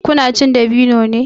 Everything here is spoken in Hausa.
Ku na cin dabino ne?